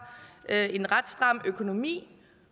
en ret stram økonomi